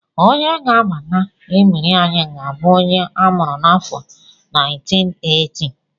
Onye ga-abata ebiri anyị ga-abụ onye a mụrụ n'afọ 1980